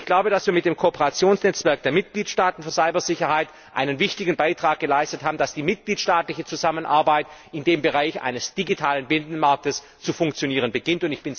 Wir haben mit dem Kooperationsnetzwerk der Mitgliedstaaten für Cybersicherheit einen wichtigen Beitrag geleistet, dass die mitgliedstaatliche Zusammenarbeit in dem Bereich eines digitalen Binnenmarktes zu funktionieren beginnt.